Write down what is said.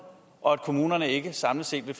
og at kommunerne ikke samlet set vil